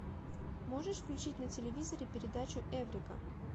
можешь включить на телевизоре передачу эврика